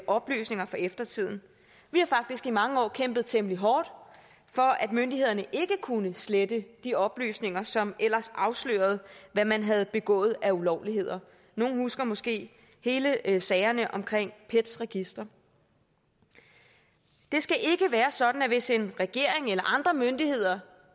oplysninger for eftertiden vi har faktisk i mange år kæmpet temmelig hårdt for at myndighederne ikke kunne slette de oplysninger som ellers afslørede hvad man havde begået af ulovligheder nogle husker måske alle sagerne om pets register det skal ikke være sådan at man hvis en regering eller andre myndigheder